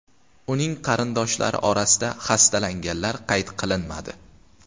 Uning qarindoshlari orasida xastalanganlar qayd qilinmadi.